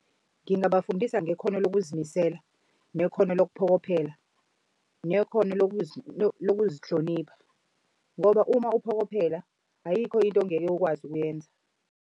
Ngingabafundisa ngekhono lokuzimisela, nekhono lokuphokophela, nekhono lokuzihlonipha. Ngoba uma uphokophela ayikho into ongeke ukwazi ukuyenza.